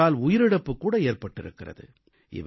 இவற்றால் உயிரிழப்பு கூட ஏற்பட்டிருக்கிறது